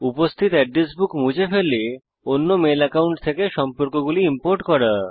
উপস্থিত address book মুছে ফেলে অন্য মেল অ্যাকাউন্ট থেকে সম্পর্কগুলি ইম্পোর্ট করে